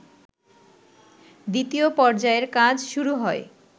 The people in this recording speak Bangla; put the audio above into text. দ্বিতীয় পর্যায়ের কাজ শুরু হয়